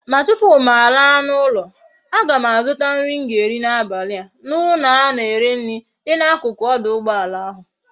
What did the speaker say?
Ma tupu m ala na ulo a gam azuta nri m ga eri na abali a na ulo a na ere nri di na akuku oduugboala ahu